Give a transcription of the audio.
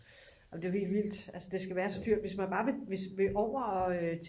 ej men det er jo helt vildt at det skal være så dyrt altså hvis man bare vil over